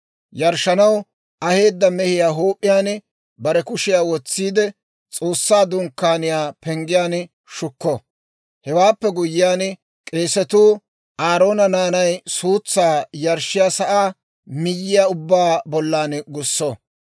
Yarshshanaw aheedda mehiyaa huup'iyaan bare kushiyaa wotsiide, S'oossaa Dunkkaaniyaa penggiyaan shukko. Hewaappe guyyiyaan, k'eesatuu Aaroona naanay suutsaa yarshshiyaa sa'aa miyyiyaa ubbaa bollan gusso.